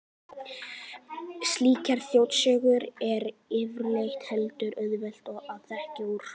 Slíkar þjóðsögur er yfirleitt heldur auðvelt að þekkja úr.